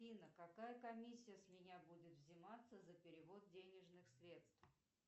афина какая комиссия с меня будет взиматься за перевод денежных средств